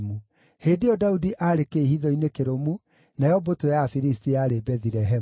Hĩndĩ ĩyo Daudi aarĩ kĩĩhitho-inĩ kĩrũmu nayo mbũtũ ya Afilisti yarĩ Bethilehemu.